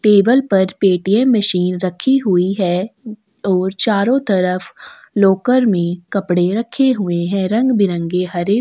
table पर Paytm machine रखी हुई है और चारो तरफ लॉकर में कपड़े रखे हुए है रंग-बिरंगे हरे पिले--